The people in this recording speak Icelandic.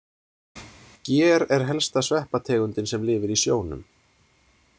Ger er helsta sveppategundin sem lifir í sjónum.